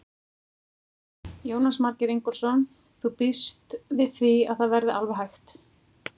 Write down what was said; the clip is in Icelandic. Jónas Margeir Ingólfsson: Þú býst við því að það verði alveg hægt?